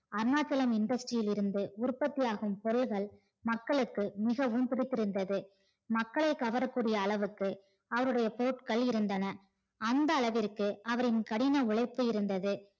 Arunachalam industry யில் இருந்து உற்பத்தி ஆகும் பொருள்கள் மக்களுக்கு மிகவும் பிடித்து இருந்தது மக்கள் கவர கூடிய அளவுக்கு அவருடைய பொருட்கள் இருந்தது அந்த அளவுக்கு அவரின் கடின உழைப்பு இருந்தது